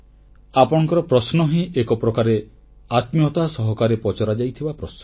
ଆପଣଙ୍କର ପ୍ରଶ୍ନ ହିଁ ଏକପ୍ରକାରେ ଆତ୍ମୀୟତା ସହକାରେ ପଚରାଯାଇଥିବା ପ୍ରଶ୍ନ